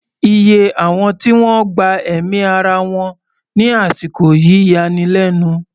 Iye àwọn tí wọ́n gba ẹ̀mí ara wọn ní àsìkò yìí yani lẹ́nu.